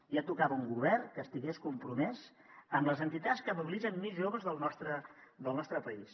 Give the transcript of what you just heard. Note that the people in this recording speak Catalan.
ja tocava un govern que estigués compromès amb les entitats que mobilitzen més joves del nostre país